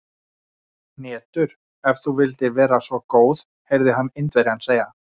Hnetur, ef þú vildir vera svo góð heyrði hann Indverjann segja.